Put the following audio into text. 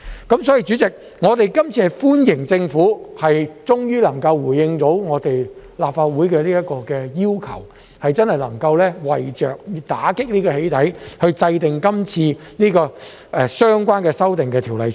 所以，代理主席，我們歡迎政府終於能夠回應立法會的要求，真的能夠為着打擊"起底"行為而制定今次的《條例草案》。